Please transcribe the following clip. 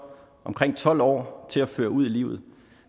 omkring tolv år til at føre ud i livet